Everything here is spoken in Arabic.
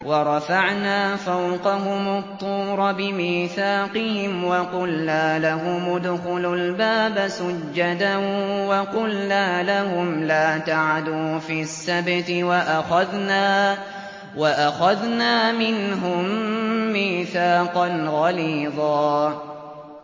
وَرَفَعْنَا فَوْقَهُمُ الطُّورَ بِمِيثَاقِهِمْ وَقُلْنَا لَهُمُ ادْخُلُوا الْبَابَ سُجَّدًا وَقُلْنَا لَهُمْ لَا تَعْدُوا فِي السَّبْتِ وَأَخَذْنَا مِنْهُم مِّيثَاقًا غَلِيظًا